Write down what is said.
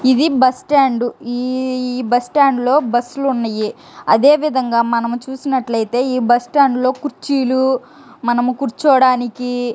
ఇది bus stand ఈ bus stand లో బస్సులు ఉన్నాయి. అదేవిధంగా మనం చూసినట్లయితే ఈ బస్ స్టాండ్ లో కుర్చీలు మనం కూర్చోడానికి--